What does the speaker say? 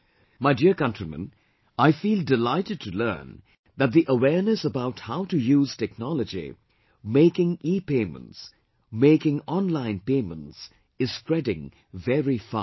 My dear countrymen, I feel delighted to learn that the awareness about how to use technology, making epayments, making online payments is spreading very fast